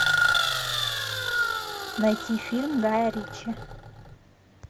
найти фильм гая ричи